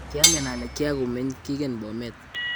kiangen ale kiakumeny Kigen Bomet